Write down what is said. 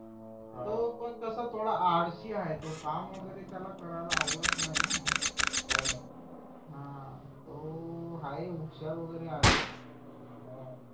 तो पण कसं थोडा आळशी आहे तो काम वगैरे करायला त्याला आवडत नाही हो ना हा तो हाय हुशार हुशार वगैरे आहे हा